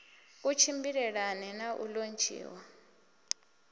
ku tshimbilelane na u lontshiwa